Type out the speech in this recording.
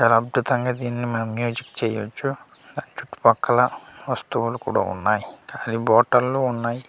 చాలా అద్భుతంగా దీన్ని మనం మ్యూజిక్ చేయొచ్చు ఆ చుట్టుపక్కల వస్తువులు కూడా ఉన్నాయి అది బాటిల్ లో ఉన్నాయి.